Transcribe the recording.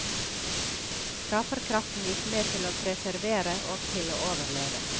Skaperkraften gikk med til å preservere og til å overleve.